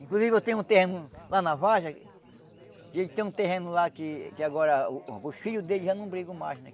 Inclusive, eu tenho um terreno lá na vargem que ele tem um terreno lá que que agora os filhos dele já não brigam mais, né?